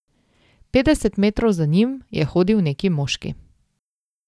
Petdeset metrov za njim je hodil neki moški.